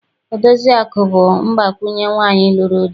Odoziakụ bụ mgbakwunye nwaanyị lụrụ di.